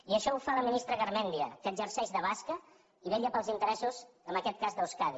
i això ho fa la ministra garmendia que exerceix de basca i vetlla pels interessos en aquest cas d’euskadi